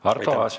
Arto Aas.